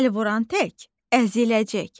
əl vuran tək əziləcək.